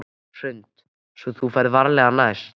Hrund: Svo þú ferð varlega næst?